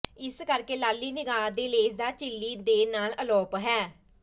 ਇਸ ਕਰਕੇ ਲਾਲੀ ਨਿਗਾਹ ਦੇ ਲੇਸਦਾਰ ਝਿੱਲੀ ਦੇ ਨਾਲ ਅਲੋਪ ਹੈ